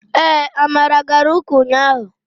ee, amara gara uka unyahu